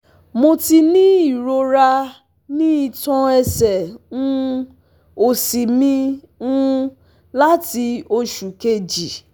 Mo ti ní irora ni itan ẹsẹ um osi mi um lati osu keji